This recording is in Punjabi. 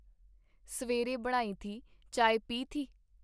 ਸਵੇਰੇ ਬਣਾਈ ਥੀ ? ਚਾਏ ਪੀ ਥੀ ?”.